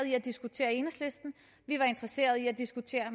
i at diskutere i enhedslisten vi var interesseret i at diskutere